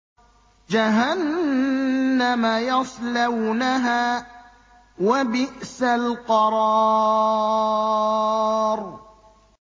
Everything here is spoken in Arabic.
جَهَنَّمَ يَصْلَوْنَهَا ۖ وَبِئْسَ الْقَرَارُ